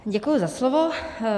Děkuji za slovo.